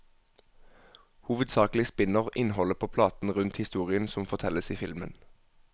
Hovedsakelig spinner innholdet på platen rundt historien som fortelles i filmen.